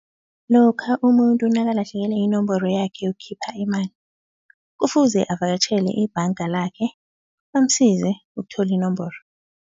Lokha umuntu nakalahlekele yinomboro yakhe yokukhipha imali kufuze avakatjhele ibhanga lakhe bamsize ukuthola inomboro.